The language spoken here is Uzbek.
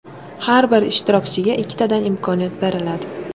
Har bir ishtirokchiga ikkitadan imkoniyat beriladi.